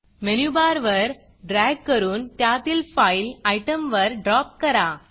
menu bar वर drag करून त्यातील Fileफाइल आयटमवर ड्रॉप करा